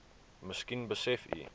miskien besef u